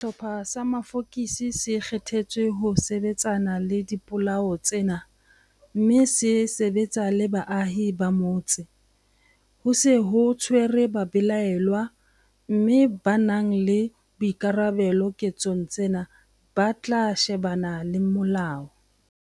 Sehlopha sa mafokisi se kgethetswe ho sebetsana le dipolao tsena mme se sebetsa le baahi ba motse. Ho se ho tshwerwe babelaellwa mme ba nang le boikarabelo ketsong tsena ba tla shebana le molao.